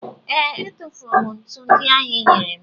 ee, e tufuru ntu ndị ahụ ịnyere m